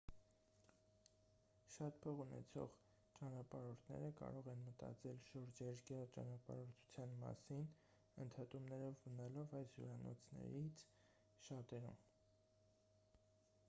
շատ փող ունեցող ճանապարհորդները կարող են մտածել շուրջերկրյա ճանապարհորդության մասին ընդհատումներով մնալով այս հյուրանոցներից շատերում